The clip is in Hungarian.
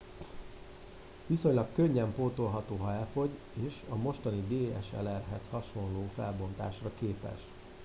viszonylag könnyen pótolható ha elfogy és a mostani dslr hez hasonló felbontásra képes